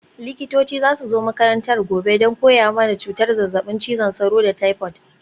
Likitoci za su zo makarantar gobe don koya mana cutar zazzabin cizon sauro da taifot.